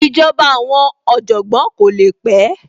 Ìjọba àwọn Ọ̀jọ̀gbọ́n kò le pẹ́